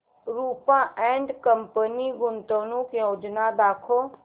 Rupa and company गुंतवणूक योजना दाखव